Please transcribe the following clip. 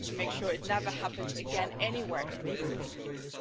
We need to make sure it never happens again anywhere in the European Union.